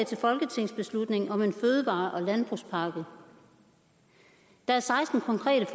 til folketingsbeslutning om en fødevare og landbrugspakke og der er seksten konkrete